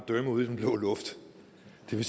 det er